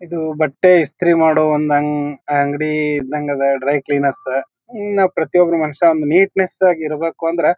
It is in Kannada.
ಇದು ಬಟ್ಟೆ ಇಸ್ತ್ರಿ ಮಾಡೋ ಒಂದ್ ಅಂಗ ಅಂಗಡಿ ಇದ್ದಂಗ ಅದ ಡ್ರೈ ಕ್ಲಿನರ್ಸ್ ಇನ್ನ ಪ್ರತಿಯೊಬ್ಬ ಮನುಷ್ಯ ನೀಟ್ನೆಸ್ ಆಗಿ ಇರ್ಬೇಕು ಅಂದ್ರೆ--